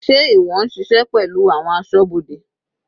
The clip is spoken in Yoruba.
Sé ìwọ ń ṣiṣẹ́ pẹ̀lú àwọn asọ́bodè?